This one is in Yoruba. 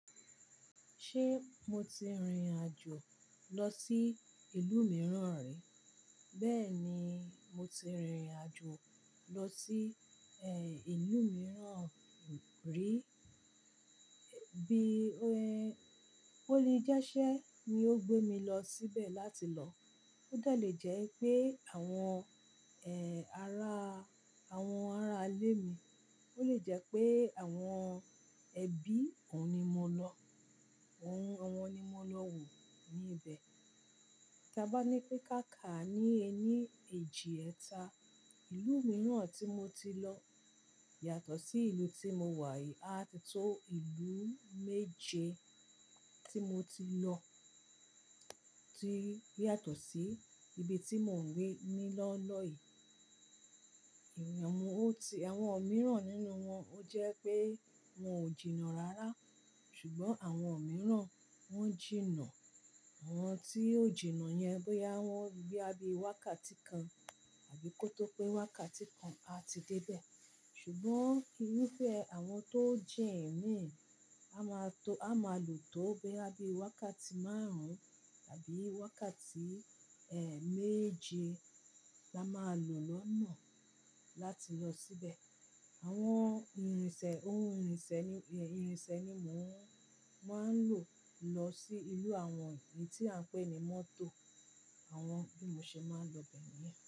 Ṣé mo ti rìnrìn àjò lọ sí ìlú mìíràn rí? Bẹ́ẹ̀ni, mo ti rìnrìn àjò lọ sí, ẹ́, ìlú mìíràn, rí. Bí ó le jẹ́ iṣẹ́ ni ó gbé mi lọ síbẹ̀ láti lọ. Ó de le jẹ́ pé àwọn, ara àwọn ará ilé mi. Ó lè jẹ́ pé àwọn ẹbí òun ni mo lọ. Òun, àwọn ni mo lọ wò ní ibẹ̀. Tí a bá ní pé káà kà ni ẹni èjì ẹta. Ìlú mìíràn tí mo ti lọ yàtọ̀ sí ìlú tí mo wà yìí. A ti tó ìlú méje tí mo ti lọ tí yàtọ̀ sí ibi tí mò ń wà nílọ́ọ̀lọ́ yìí. Àwọn mìíràn nínú wọn ó jẹ́ pé wọn ò jìnnà rárá. Ṣùgbọ́n àwọn mìíràn wọ́n jìnnà. Àwọn tí ó jìnnà yẹn gbé ya wọ́n bí i wákàtí kan àbí kó tó pé wákàtí kan a ti dé ibẹ̀. Ṣùgbọ́n irufẹ́ àwọn tó jin mii, a máa to, a máa lò tó boya bí i wákàtí márùn-ún àbí wákàtí, méje la máa lò lọ́nà láti lọ síbẹ̀. Àwọn irinṣẹ́, ohun irinṣẹ́ ni, irinṣẹ́ ni mò ń, máa ń lò lọ sí ìlú àwọn eyi tí à ń pè ní mọ́tò. Àwọn bí mo ṣe máa ń lọ bẹ̀ níyẹn.